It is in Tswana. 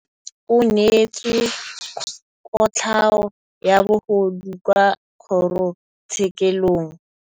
Rragwe o neetswe kotlhaô ya bogodu kwa kgoro tshêkêlông.